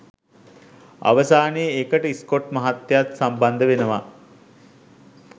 අවසානයේ ඒකට ස්කොට් මහත්තයත් සම්බන්ධ වෙනවා.